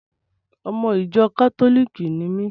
Ọmọ ìjọ kátólìkì ni mí.